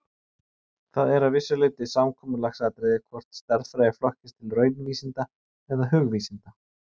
Það er að vissu leyti samkomulagsatriði hvort stærðfræði flokkist til raunvísinda eða hugvísinda.